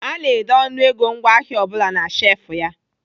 Ana ede ọnụego ngwaahịa ọ bụla na shefụ ya.